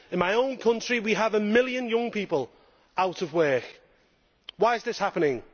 In my own country we have a million young people out of work. Why is this happening?